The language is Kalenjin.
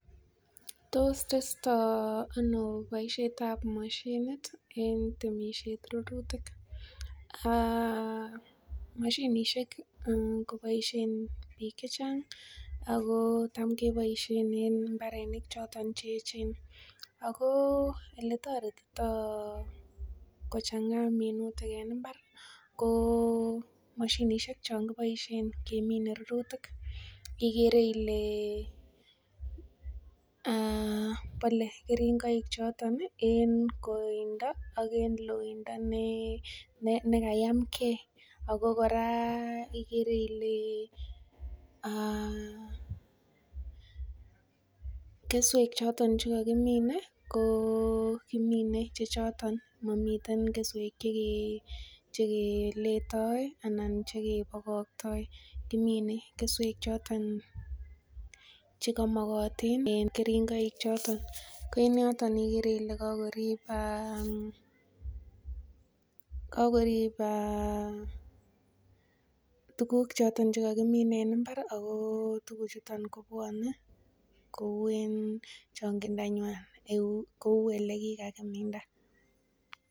Tos testo ano baishet ab mashinit en temishet Ruruyik temishet kobaishen bik chechang ako Tam kebaishen en imbarenik choton cheyechen ako eletaritito kochanga minutik en imbar komashinishek changibaishen kemine minutik igere Ile bale keringonik choton en kotindo ak en loindo nekayam gei akokoraa igere Ile keswek choton chekakimine ko kimine Che choton mamiten keswek chekeleyoi anan chekebakatoi kimine keswek choton chekamakayin en keringoi choton Koen yoton igere Kole kakoriba tuguk choton kakimine en imbar ako tuguk chuton kobwanen Kou en changindo nywan Kou elekikakiminfa